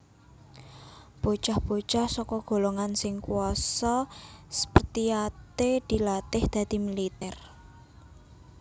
Bocah bocah saka golongan sing kuasa Spartiate dilatih dadi militèr